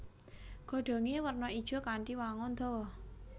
Godhongé werna ijo kanthi wangun dawa